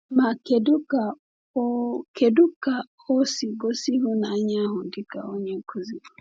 Ma, kedu ka o kedu ka o si gosi ịhụnanya ahụ dị ka onye nkuzi?